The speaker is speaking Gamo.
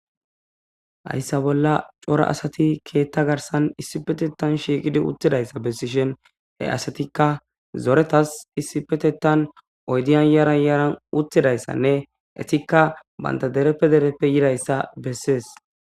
Hayssa bolla cora asati keetha garsan isipetethan shiiqi uttidaysa bessishin eetika zoretethas yaran yaran oydiya bolla uttizaysa gidishin eetika banta dereppe dereppe yidaysa bessees.